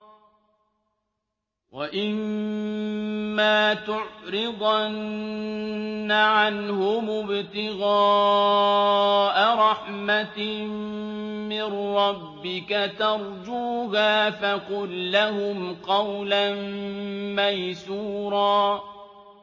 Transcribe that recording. وَإِمَّا تُعْرِضَنَّ عَنْهُمُ ابْتِغَاءَ رَحْمَةٍ مِّن رَّبِّكَ تَرْجُوهَا فَقُل لَّهُمْ قَوْلًا مَّيْسُورًا